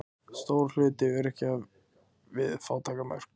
Stór hluti öryrkja við fátæktarmörk